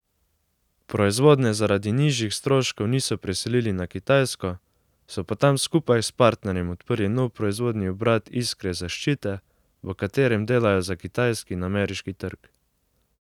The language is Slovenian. Proizvodnje zaradi nižjih stroškov niso preselili na Kitajsko, so pa tam skupaj s partnerjem odprli nov proizvodni obrat Iskre Zaščite, v katerem delajo za kitajski in ameriški trg.